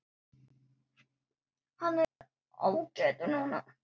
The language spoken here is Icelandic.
Hann er ágætur núna.